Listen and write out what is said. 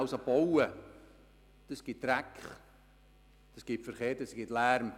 Wenn man baut, gibt es Dreck, Verkehr und Lärm.